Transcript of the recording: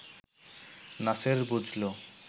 নাসের বুঝল